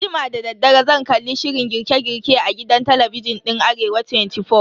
Anjima dadaddare zan kalli shirin girke girke a gidan talabijin din Arewa 24.